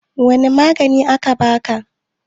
wane maganin aka baka?